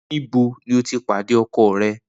Nibo ni o ti pade ọkọ rẹ?